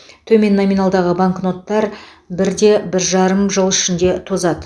төмен номиналдағы банкноттар бірде бір жарым жыл ішінде тозады